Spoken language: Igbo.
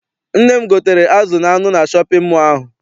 Nne m gotere azụ na anụ na shọpịn mọọ ahụ.